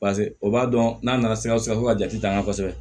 paseke o b'a dɔn n'a nana sikasokaw ka jate an kan kosɛbɛ